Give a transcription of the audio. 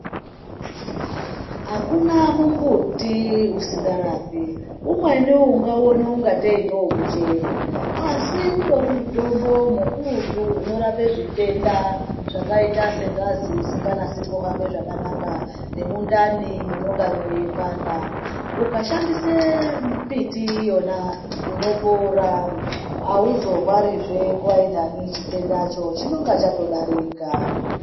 Akuna mumbuti usingarapi umweni ungauona kungatei ngewe muchero asi utori mutombo mukurutu unorape zvitenda zvakaita sengazi inenge isingahambi zvakanaka nemundane munenge meipanda ukashandise miti iyona unopona aizorwari nechitenda ichona chinenge chatodarika.